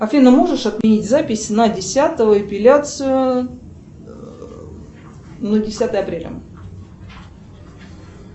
афина можешь отменить запись на десятого эпиляцию на десятое апреля